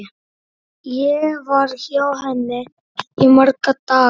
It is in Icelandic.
Ég var hjá henni í marga daga.